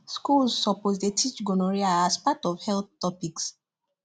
schools suppose dey teach gonorrhea as part of health topics